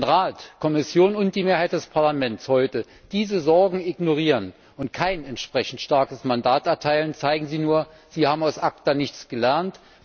Wenn Rat, Kommission und die Mehrheit des Parlaments heute diese Sorgen ignorieren und kein entsprechend starkes Mandat erteilen, zeigen sie nur Sie haben aus ACTA nichts gelernt.